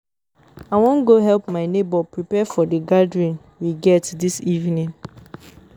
I wan go help my neighbor prepare for the gathering we get dis evening